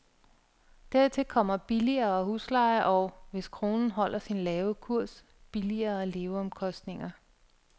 Dertil kommer billigere husleje og, hvis kronen holder sin lave kurs, billigere leveomkostninger.